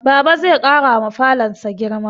Baba zai ƙarawa falonsa girma